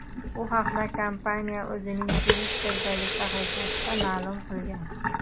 Bu haqda kompaniya o‘zining Twitter’dagi sahifasida ma’lum qilgan .